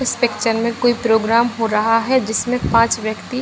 इस पिक्चर में कोई प्रोग्राम हो रहा है जिसमें पांच व्यक्ति --